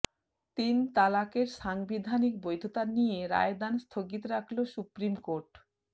তিন তালাকের সাংবিধানিক বৈধতা নিয়ে রায়দান স্থগিত রাখল সুপ্রিম কোর্ট